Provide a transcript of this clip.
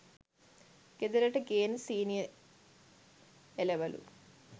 ගෙදරට ගේන සීනි‍ එලවලු